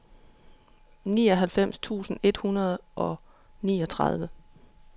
nioghalvfems tusind et hundrede og niogtredive